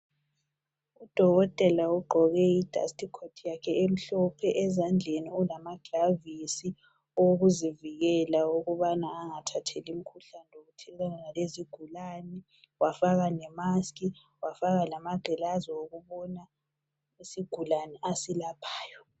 Udokotela ugoke idasti khothi yakhe emhlophe ezandleni ulamagilavisi owokuzivikela ukubana angathathi imkhuhlane lokuthelelana lezigulane wafaka le mask wafaka lamangilazi okubona isigulani asilaphayo.